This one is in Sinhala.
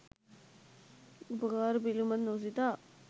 උපකාර පිළිබඳ නොසිතා